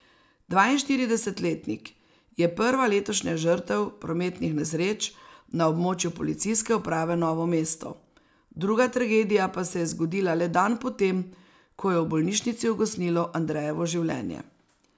Dvainštiridesetletnik je prva letošnja žrtev prometnih nesreč na območju Policijske uprave Novo mesto, druga tragedija pa se je zgodila le dan po tem, ko je v bolnišnici ugasnilo Andrejevo življenje.